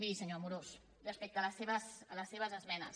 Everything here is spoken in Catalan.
miri senyor amorós respecte a les seves esmenes